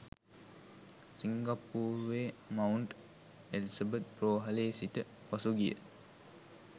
සිංගප්පූරුවේ mount Elizabeth රෝහලේ සිට පසුගිය